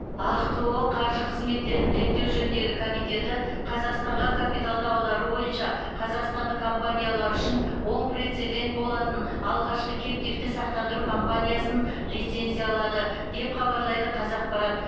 ахқо қаржы қызметтерін реттеу жөніндегі комитеті қазақстанға капиталды аудару бойынша қазақстандық компаниялар үшін оң прецедент болатын алғашқы кэптивті сақтандыру компаниясын лицензиялады деп хабарлайды қазақпарат